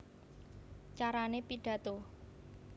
Carané Pidhato